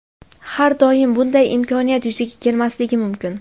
Har doim ham bunday imkoniyat yuzaga kelmasligi mumkin”.